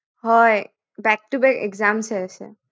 হয় back to back exams হৈ আছে